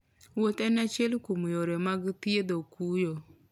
Wuoth en achiel kuom yore mag thiedho kuyo.